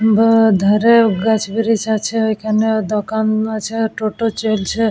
দু ধারে গাছ বৃষ আছে। ওখানেও দোকান আছে। টোটো চলছে --